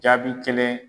Jaabi kelen